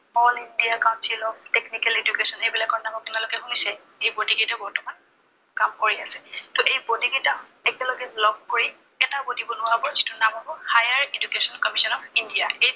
All India Council of Technical Education এইবিলাকৰ নাম আপোনালোকে শুনিছে। এই body কেইটাই বৰ্তমান কাম কৰি আছে। ত এই body কেইটা একেলগে লগ কৰি এটা body বনোৱা হব। যিটোৰ নাম হব Higher Education Council of India